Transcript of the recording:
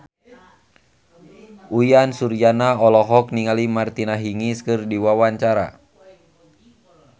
Uyan Suryana olohok ningali Martina Hingis keur diwawancara